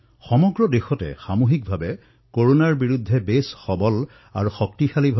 দেশত সকলোৰে সামূহিক প্ৰয়াসৰ দ্বাৰা কৰোনাৰ বিৰুদ্ধে যুদ্ধ অধিক শক্তিশালী হৈছে